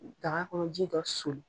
Daga kɔnɔ ji dɔ soli